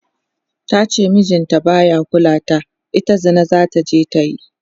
tace mijin ta baya kulawa da ita, ita Zina zataje ta yi